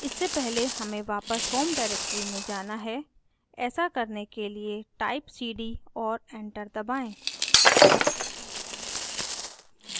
इससे पहले हमें वापस होम डाइरेक्टरी में जाना है ऐसा करने के लिए टाइप cd और एंटर दबाएँ